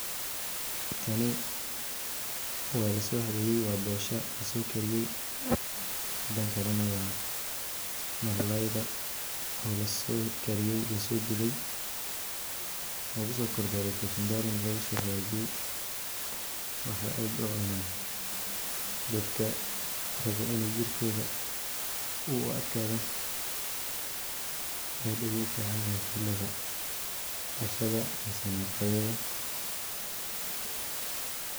waa bosha laso kariye mida kale waa malay lasokariye lasodube iyo (kachumbari) waxa aad ucuna dadka rawa iney jirkoda uadkado waxay ficantehe xilaga qadad ama cashada